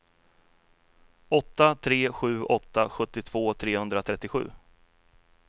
åtta tre sju åtta sjuttiotvå trehundratrettiosju